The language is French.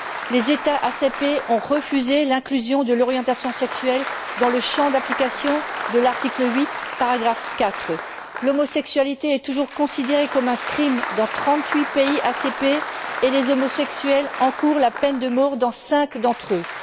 Les États ACP ont refusé l'inclusion de l'orientation sexuelle dans le champ d'application de l'article 8, paragraphe 4. L'homosexualité est toujours considérée comme un crime dans trente huit pays ACP et les homosexuels encourent la peine de mort dans cinq d'entre eux.